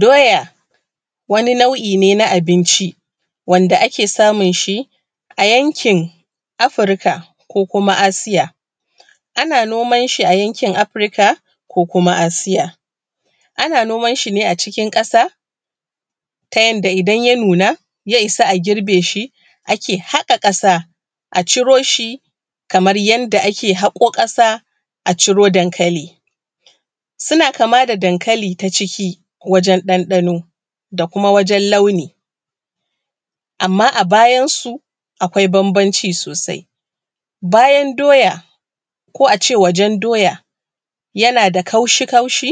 Doya wani nau’ine na abinci wanda ake samun shi a yankin afirika ko kuma asiya. Ana noman shi a yankin afirika ko kuma asiya. Ana noman shi ne a cikin ƙasa ta yanda idan ya nuna ya isa a girbe shi ake haƙa ƙasa a ciro shi kamar yanda ake haƙo ƙasa ciro dankali. Suna kama da dankali ta ciki wajen ɗanɗano da kuma wajen launi. Amma a bayan su akwai bambamci sosai. Bayan doya ko a ce wajen doya yana da kaushi kaushi,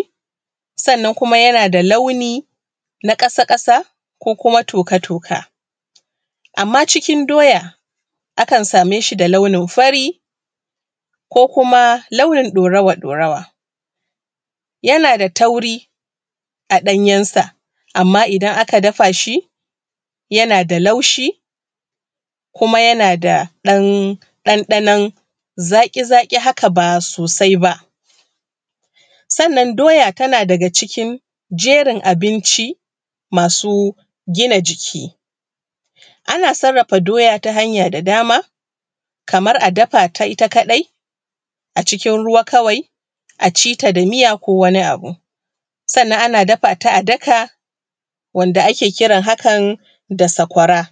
sannan kuma yana da launi na ƙasa ƙasa ko kuma toka toka. Amma cikin doya akan same shi da launin fari, ko kuma launin ɗaurawa ɗaurawa. Yana da tauri a ɗanyensa amma idan aka dafa shi yana da laushi, kuma yana da ɗanɗanon zaƙi zaƙi haka ba sosai ba. Sannan doya tana daga cikin jerin abinci masu gina jiki. Ana sarrafa doya ta hanya da dama, kamar a dafa ta ita kaɗai a cikin ruwa kawai a ci ta da miya ko wani abu, sannan ana dafa ta a daka, wanda ake kiran hakan da sakwara.